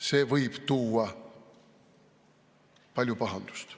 See võib tuua palju pahandust.